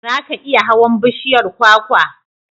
Za ka iya hawan bishiyar kwakwa?